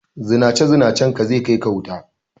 Zinace Zinacen ka zai kai ka wuta